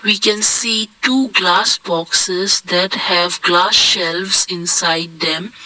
we can see two glass boxes that have glass shelves inside them.